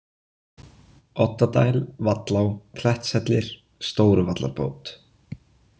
Oddadæl, Vallá, Klettshellir, Stóruvallarbót